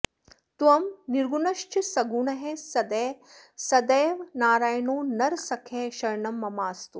त्वं निर्गुणश्च सगुणः सदयः सदैव नारायणो नरसखः शरणं ममास्तु